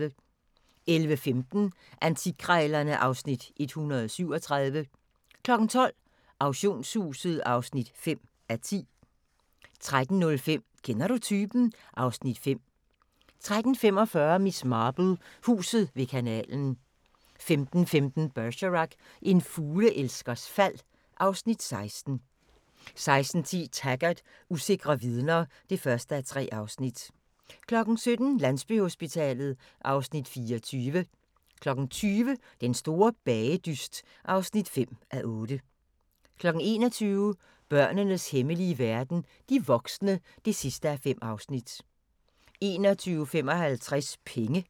11:15: Antikkrejlerne (Afs. 137) 12:00: Auktionshuset (5:10) 13:05: Kender du typen? (Afs. 5) 13:45: Miss Marple: Huset ved kanalen 15:15: Bergerac: En fugleelskers fald (Afs. 16) 16:10: Taggart: Usikre vidner (1:3) 17:00: Landsbyhospitalet (Afs. 24) 20:00: Den store bagedyst (5:8) 21:00: Børnenes hemmelige verden - de voksne (5:5) 21:55: Penge